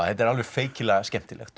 þetta er alveg feikilega skemmtilegt